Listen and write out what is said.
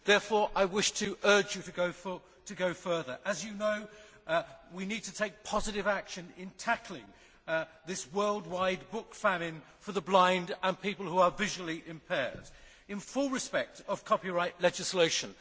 Therefore, I wish to urge you to go further. As you know, we need to take positive action in tackling this worldwide book famine for the blind and people who are visually impaired, in full respect of copyright legislation.